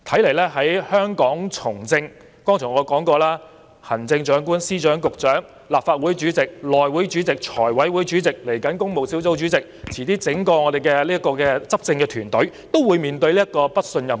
我剛才已說過，除了行政長官、司長、局長、立法會主席、內務委員會主席、財務委員會主席，以至工務小組委員會主席，遲些我們整個執政團隊也會面對"不信任"議案。